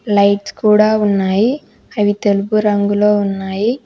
Lights కూడా ఉన్నాయి అవి తెలుపు రంగులో ఉన్నాయి.